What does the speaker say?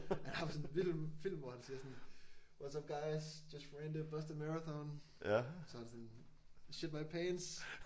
Han har bare sådan en film film hvor han siger sådan what's up guys just ran the Boston Marathon. Så er han sådan shit my pants